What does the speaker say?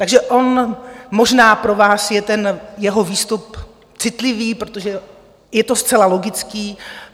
Takže on možná pro vás je ten jeho výstup citlivý, protože je to zcela logické.